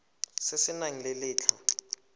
se se nang le letlha